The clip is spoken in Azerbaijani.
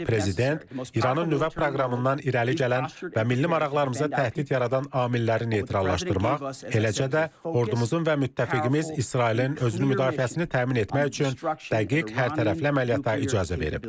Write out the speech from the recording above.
Prezident İranın nüvə proqramından irəli gələn və milli maraqlarımıza təhdid yaradan amilləri neytrallaşdırmaq, eləcə də ordumuzun və müttəfiqimiz İsrailin özünü müdafiəsini təmin etmək üçün dəqiq, hərtərəfli əməliyyatlara icazə verib.